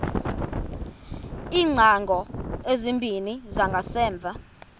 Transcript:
iingcango ezimbini zangasemva